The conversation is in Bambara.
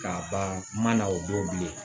K'a ban ma o don bilen